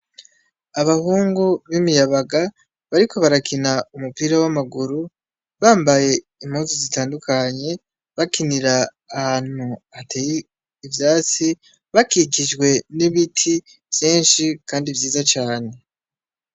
Abahungu b'imiyabaga bariko barakina umupira w'amaguru, bambaye impuzu zitandukanye, bakinira ahantu hateye ivyatsi, bakikijwe n'ibiti vyinshi kandi vyiza cane.